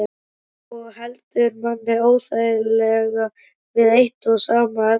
Og heldur manni óþægilega við eitt og sama efnið.